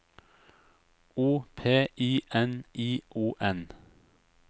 O P I N I O N